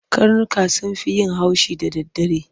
Karnuka sun fi yin haushi da daddare.